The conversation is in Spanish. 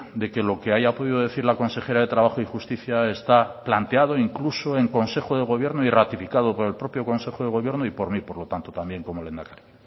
de que lo que haya podido decir la consejera de trabajo y justicia está planteado incluso en consejo de gobierno y ratificado por el propio consejo de gobierno y por mí por lo tanto también como lehendakari